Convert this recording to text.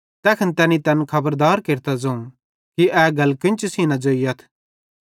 तैखन तैनी तैन खबरदार केरतां ज़ोवं कि ए गल केन्ची सेइं न ज़ोइयथ